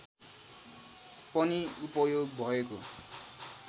पनि उपयोग भएको